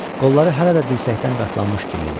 Qolları hələ də dirsəkdən qatlanmış kimi idi.